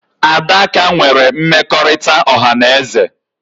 Adaka nwere mmekọrịta ọha na eze